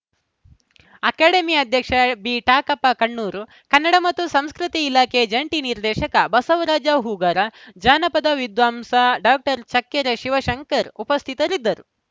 academy ಅಧ್ಯಕ್ಷ ಬಿಟಾಕಪ್ಪ ಕಣ್ಣೂರು ಕನ್ನಡ ಮತ್ತು ಸಂಸ್ಕೃತಿ ಇಲಾಖೆ ಜಂಟಿ ನಿರ್ದೇಶಕ ಬಸವರಾಜ ಹೂಗಾರ ಜಾನಪದ ವಿದ್ವಾಂಸ ಡಾಕ್ಟರ್ ಚಕ್ಕೆರೆ ಶಿವಶಂಕರ್‌ ಉಪಸ್ಥಿತರಿದ್ದರು